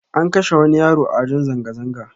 An kashe wani yaro a wajen zanga zanga